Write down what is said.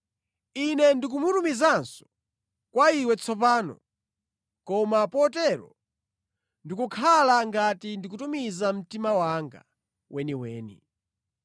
Ine ndikumutumizanso kwa iwe tsopano, koma potero ndikukhala ngati ndikutumiza mtima wanga weniweni.